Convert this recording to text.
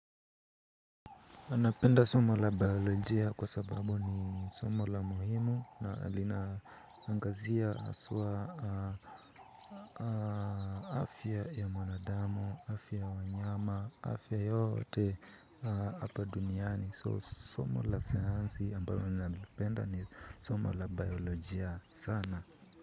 Anapenda sumo la biolojia kwa sababu ni somo la muhimu na lina angazia haswa afya ya mwanadamu, afya ya wanyama, afya yote hapa duniani. So somo la sayansi ambayo napenda ni sumo la biolojia sana.